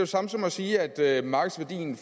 samme som at sige at markedsværdien